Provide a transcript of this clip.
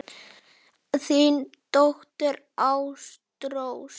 Þín dóttir, Ástrós.